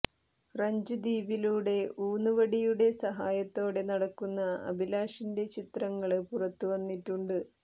French ദ്വീപിലൂടെ ഊന്ന് വടിയുടെ സഹായത്തോടെ നടക്കുന്ന അഭിലാഷിന്റെ ചിത്രങ്ങള് പുറത്തുവന്നിട്ടുണ്ട്